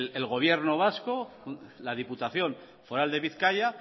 el gobierno vasco la diputación foral de bizkaia